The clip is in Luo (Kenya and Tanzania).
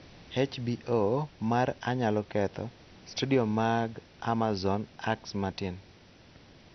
HBO mar 'Anyalo Ketho', Studio mag Amazon 'Axe Matin',